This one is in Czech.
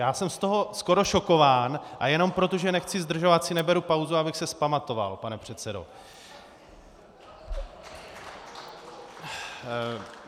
Já jsem z toho skoro šokován a jenom proto, že nechci zdržovat, si neberu pauzu, abych se vzpamatoval, pane předsedo.